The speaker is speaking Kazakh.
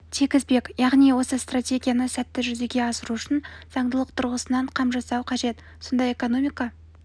тигізбек яғни осы стратегияны сәтті жүзеге асыру үшін заңдылық тұрғысынан қам жасау қажет сонда экономика